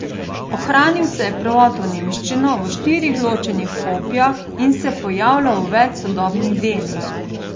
Ohranil se je prevod v nemščino v štirih ločenih kopijah in se pojavlja v več sodobnih delih.